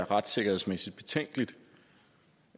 retssikkerhed